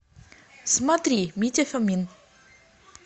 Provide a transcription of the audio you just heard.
смотри митя фомин